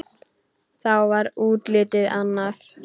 Þá var útlitið annað.